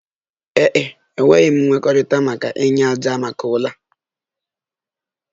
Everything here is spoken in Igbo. Ee e, enwetaghị m nkwekọrịta maka inye ájá maka ụlọ